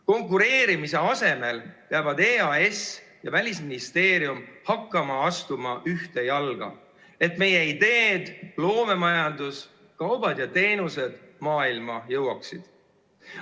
Konkureerimise asemel peavad EAS ja Välisministeerium hakkama astuma ühte jalga, et meie ideed, loomemajandus, kaubad ja teenused maailma jõuaksid.